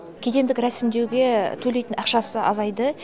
кедендік рәсімдеуге төлейтін ақшасы азайды